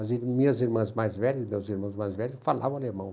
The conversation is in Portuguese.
As minhas irmãs mais velhas, meus irmãos mais velhos, falavam alemão.